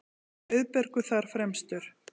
Auðbergur þar fremstur.